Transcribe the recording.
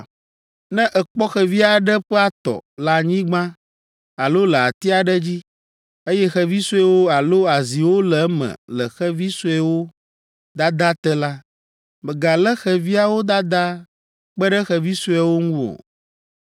“Ne èkpɔ xevi aɖe ƒe atɔ le anyigba alo le ati aɖe dzi, eye xevi suewo alo aziwo le eme le xevi sueawo dadaa te la, mègalé xeviawo dadaa kpe ɖe xevi sueawo ŋu o.